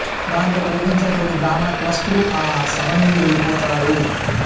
దాంతో కోపించిన తోటి బ్రాహ్మణ కులస్తులు ఆ సభనుండి వెళ్ళిపోతారు